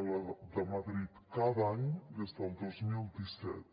a la de madrid cada any des del dos mil disset